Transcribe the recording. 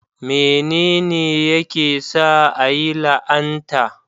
Menene yake sa a yi la'anta?